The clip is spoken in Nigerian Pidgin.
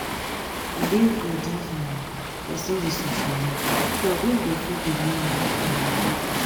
e dey good if um person dey socialise so dat im go fit dey learn how to communicate well